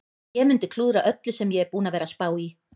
Ég mundi klúðra öllu sem ég er búinn að vera að spá í.